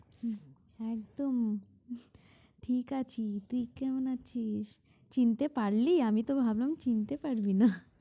হম একদম ঠিক আছি তুই কেমন আছিস চিনতে পারলি আমি তো ভাবলাম চিনতে পারবি না।